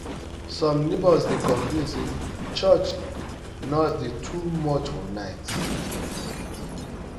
some neighbors dey complain say church church noise dey too much for night